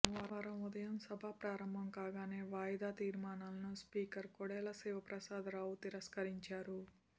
సోమవారం ఉదయం సభ ప్రారంభం కాగానే వాయిదా తీర్మానాలను స్పీకర్ కోడెల శివప్రసాదరావు తిరస్కరించారు